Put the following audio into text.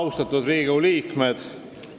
Lugupeetud Riigikogu liikmed!